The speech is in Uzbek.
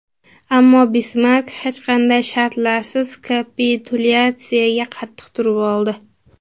Ammo Bismark hech qanday shartlarsiz kapitulyatsiyaga qattiq turib oldi.